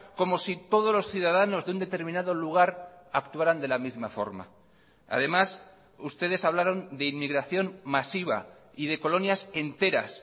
como si todos los ciudadanos de un determinado lugar actuaran de la misma forma además ustedes hablaron de inmigración masiva y de colonias enteras